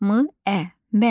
M ə mə.